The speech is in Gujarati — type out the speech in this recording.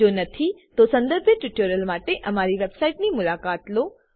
જો નથી તો સંદર્ભિત ટ્યુટોરીયલો માટે અમારી વેબસાઈટની મુલાકાત લો